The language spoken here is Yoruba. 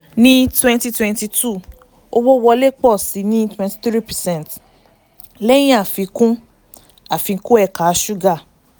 ní twenty twenty two owó wọlé pọ̀ sí i ní twenty three percent lẹ́yìn àfikún àfikún ẹ̀ka ṣúgà.